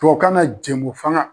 Tubabu kan na jɛmu fanga.